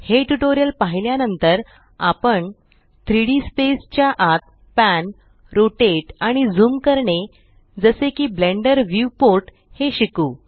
हे ट्यूटोरियल पाहिल्या नंतर आपण 3डी स्पेस च्या आत पॅन रोटेट आणि ज़ूम करणे जसे की ब्लेंडर व्यूपोर्ट हे शिकू